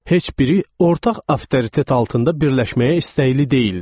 Heç biri ortaq avtoritet altında birləşməyə istəkli deyildi.